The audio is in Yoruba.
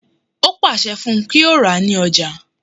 Ó pàṣẹ fún un kí ó rà ní Ọjà